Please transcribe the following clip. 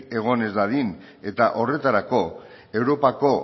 egon ez dadin eta horretarako europako